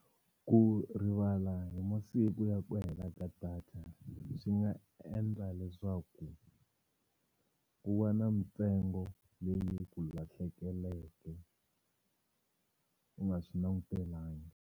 Ku rivala hi masiku ya ku hela ka data swi nga endla leswaku ku va na mintsengo leyi ku lahlekeleke u nga swi langutelangi.